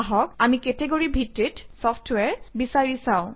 আহক আমি কেটেগৰী ভিত্তিত চফট্ৱেৰ বিচাৰি চাওঁ